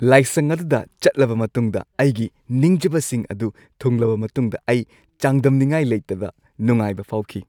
ꯂꯥꯏꯁꯪ ꯑꯗꯨꯗ ꯆꯠꯂꯕ ꯃꯇꯨꯡꯗ ꯑꯩꯒꯤ ꯅꯤꯡꯖꯕꯁꯤꯡ ꯑꯗꯨ ꯊꯨꯡꯂꯕ ꯃꯇꯨꯡꯗ ꯑꯩ ꯆꯥꯡꯗꯝꯅꯤꯉꯥꯏ ꯂꯩꯇꯕ ꯅꯨꯡꯉꯥꯏꯕ ꯐꯥꯎꯈꯤ꯫